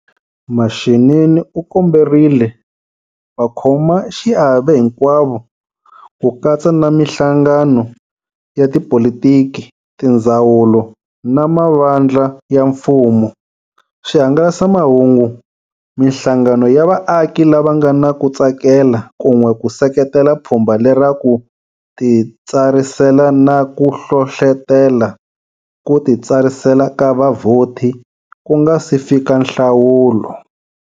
Mashinini u komberile vakhomaxiave hinkwavo, ku katsa na mihlangano ya tipolitiki, tindzawulo na mavandla ya mfumo, swihangalasamahungu, mihlangano ya vaaki lava nga na ku tsakela kun'we ku seketela pfhumba lera ku titsarisela na ku hlohlotela ku titsarisela ka vavhoti ku nga si fika nhlawulo.